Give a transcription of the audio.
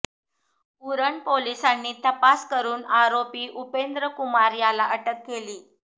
उरण पोलिसांनी तपास करून आरोपी उपेंद्र कुमार याला अटक केली